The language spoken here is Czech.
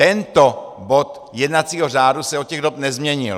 Tento bod jednacího řádu se od těch dob nezměnil.